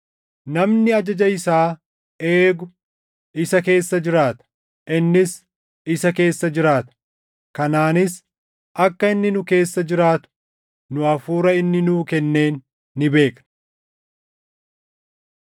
Namni ajaja isaa eegu isa keessa jiraata; innis isa keessa jiraata. Kanaanis akka inni nu keessa jiraatu nu Hafuura inni nuu kenneen ni beekna.